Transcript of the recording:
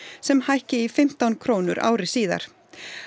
sem hækki í fimmtán krónur ári síðar